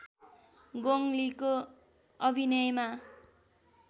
गोङ लीको अभिनयमा